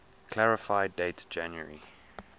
clarify date january